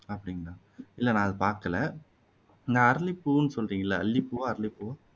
அப்படிங்களா இல்ல அதை நான் பாக்கல இந்த அரலிப்பூவுன்னு சொல்றீங்கல்ல அல்லிப்பூவா அரலிப்பூவா